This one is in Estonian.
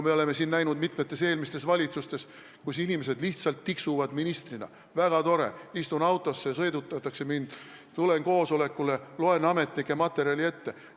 Me nägime mitmetes eelmistes valitsustes, et inimesed lihtsalt tiksusid ministrina: väga tore, istun autosse, mind sõidutatakse, tulen koosolekule, loen ametnike materjali ette.